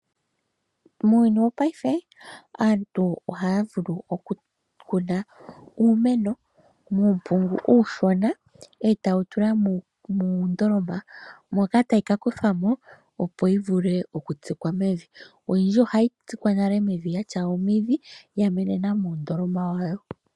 Muuyuni wopaife aantu ohaya vulu okukuna uumeno muumpungu uushona e taye wu tula muundolama, moka tayi ka kuthwa mo, opo yi vule okutsikwa mevi. Oyindji ohayi tsikwa nale mevi yatya omidhi ya menenena muundoloma wayo.